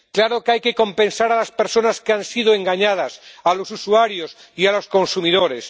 Claro que hay que compensar a las personas que han sido engañadas a los usuarios y a los consumidores.